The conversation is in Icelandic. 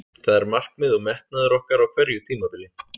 Það er markmið og metnaður okkar á hverju tímabili.